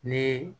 Ni